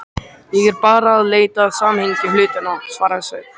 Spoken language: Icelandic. Ég er bara að leita að samhengi hlutanna, svaraði Sveinn.